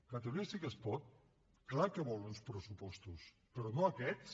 catalunya sí que es pot clar que vol uns pressupostos però no aquests